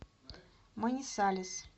манисалес